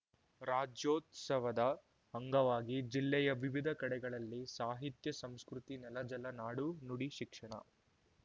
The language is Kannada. ರಾಜ್ಯೋತ್ಸವದ ಅಂಗವಾಗಿ ಜಿಲ್ಲೆಯ ವಿವಿಧ ಕಡೆಗಳಲ್ಲಿ ಸಾಹಿತ್ಯ ಸಂಸ್ಕೃತಿ ನೆಲ ಜಲ ನಾಡು ನುಡಿ ಶಿಕ್ಷಣ